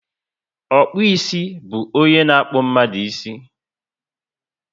Okpu isi bu ónyé na akpu mmadụ ísì